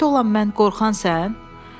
Döyüşdə olan mən, qorxan sən?